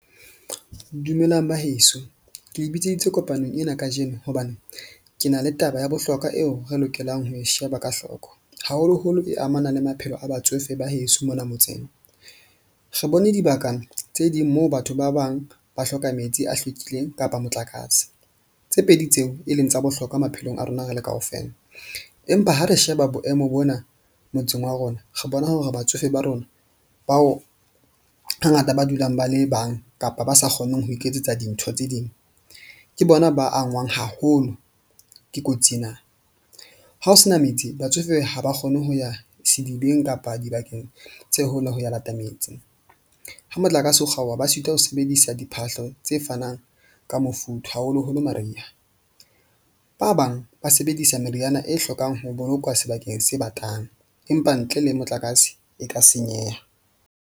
Dumelang ba heso ke le bitseditse kopanong ena kajeno, hobane ke na le taba ya bohlokwa eo re lokelang ho e sheba ka hloko haholoholo e amana le maphelo a batsofe ba heso mona motseng. Re bone dibaka tse ding moo batho ba bang ba hloka metsi a hlwekileng kapa motlakase. Tse pedi tseo e leng tsa bohlokwa maphelong a rona re le kaofela, empa ha re sheba boemo bona motseng wa rona, re bona hore batsofe ba rona bao hangata ba dulang ba le bang, kapa ba sa kgoneng ho iketsetsa dintho tse ding. Ke bona ba angwang haholo ke kotsi ena. Ha ho sena metsi batsofe ha ba kgone ho ya sedibeng kapa dibakeng tse hole ho ya lata metsi, ha motlakase o kgaoha, ba sitwa ho sebedisa diphahlo tse fanang ka mofuthu haholoholo mariha. Ba bang ba sebedisa meriana e hlokang ho bolokwa sebakeng se batlang. Empa ntle le motlakase e ka senyeha.